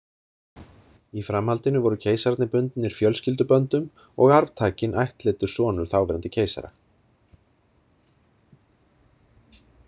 Í framhaldinu voru keisararnir bundnir fjölskylduböndum og arftakinn ættleiddur sonur þáverandi keisara.